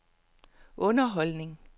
underholdning